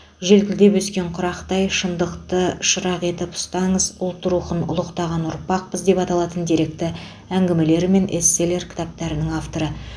желкілдеп өскен құрақтай шындықты шырақ етіп ұстаңыз ұлт рухын ұлықтаған ұрпақпыз деп аталатын деректі әңгімелер мен эсселер кітаптарының авторы